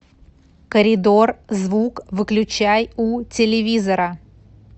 коридор звук выключай у телевизора